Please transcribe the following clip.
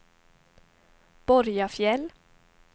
Borgafjäll